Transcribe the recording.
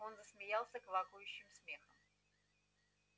он засмеялся квакающим смехом